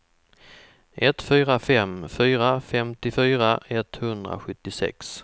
ett fyra fem fyra femtiofyra etthundrasjuttiosex